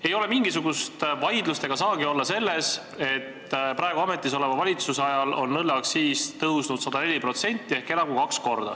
Ei ole mingisugust vaidlust – ega saagi olla – selle üle, et praegu ametisoleva valitsuse ajal on õlleaktsiis tõusnud 104% ehk enam kui kaks korda.